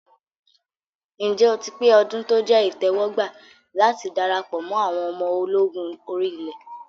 Ǹjẹ́ o ti pé ọdún tó jẹ́ ìtẹ́wọ́gbà láti darapọ̀ mọ àwọn ọmọ ológun orí ilẹ̀?